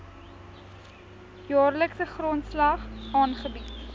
jaarlikse grondslag aangebied